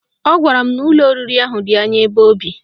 Ọ gwara m n'ụlọ oriri ahụ dị anya ebe o bi